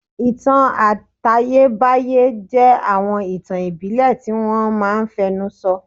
Ìtàn àtayébáyé jẹ́ àwọn ìtàn ìbílẹ̀ tí wọ́n máa n fẹnu sọ